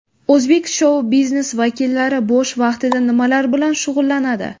O‘zbek shou-biznes vakillari bo‘sh vaqtida nimalar bilan shug‘ullanadi?.